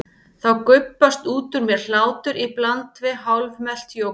Þá gubbast út úr mér hlátur í bland við hálfmelt jógúrt.